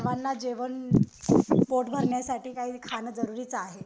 सर्वाना जेवण पोटभरण्यासाठी काही खान जरुरीच आहे